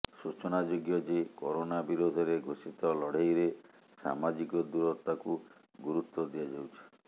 ସୂଚନାଯୋଗ୍ୟ ଯେ କରୋନା ବିରୋଧରେ ଘୋଷିତ ଲଢ଼େଇରେ ସାମାଜିକ ଦୂରତାକୁ ଗୁରୁତ୍ୱ ଦିଆଯାଉଛି